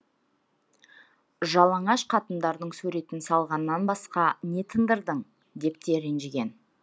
жалаңаш қатындардың суретін салғаннан басқа не тындырдың деп те ренжіген